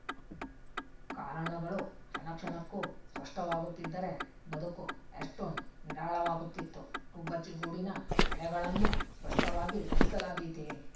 ಕಾರಣಗಳು ಕ್ಷಣಕ್ಷಣಕ್ಕೂ ಸ್ಪಷ್ಟವಾಗುತ್ತಿದ್ದರೆ ಬದುಕು ಎಷ್ಟು ನಿರಾಳವಾಗುತ್ತಿತ್ತು ಗುಬ್ಬಚ್ಚಿಗೂಡಿನ ಎಳೆಗಳನ್ನು ಸ್ಪಷ್ಟವಾಗಿ ಬಿಡಿಸಲಾದೀತೆ